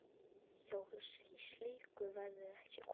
Hjá slíku verður ekki komist.